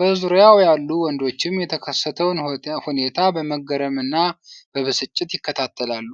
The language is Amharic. በዙሪያው ያሉ ወንዶችም የተከሰተውን ሁኔታ በመገረምና በብስጭት ይከታተላሉ።